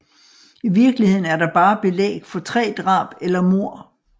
I virkeligheden er der bare belæg for tre drab eller mord